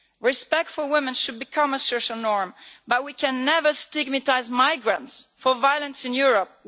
Respect for women should become a social norm, but we can never stigmatise migrants for violence in Europe.